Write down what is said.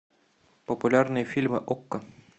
популярные фильмы окко